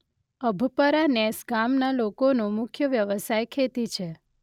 અભપરા નેસ ગામના લોકોનો મુખ્ય વ્યવસાય ખેતી છે.